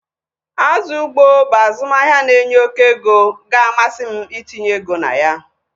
Azụ ugbo bụ azụmahịa na-enye oké ego ga-amasị m itinye ego na ya